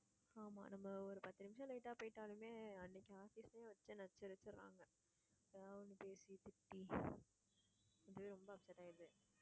ஆமா நம்ம ஒரு பத்து நிமிஷம் late ஆ போய்ட்டாலுமே அன்னைக்கு office லே வச்சி நச்சரிச்சிடறாங்க எதாவது ஒண்ணு பேசி திட்டி அதுவே ரொம்ப upset ஆயிடுது